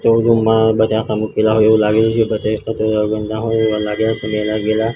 showroom માં બધા મુકેલા હોય એવુ લાગી રહ્યું છે બધા એવા લાગેલા--